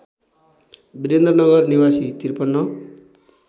वीरेन्द्रनगर निवासी ५३